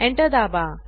enter दाबा